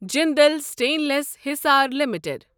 Jindal stainless Hisar limited